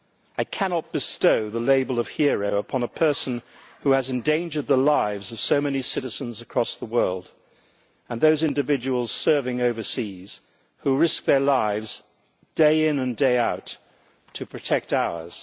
I cannot bestow the label of hero upon a person who has endangered the lives of so many citizens across the world and those individuals serving overseas who risk their lives, day in and day out, to protect ours.